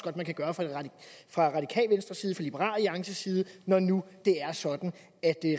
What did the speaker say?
at man kan gøre fra det radikale venstre side liberal alliances side når nu det er sådan at